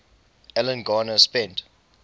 alan garner spent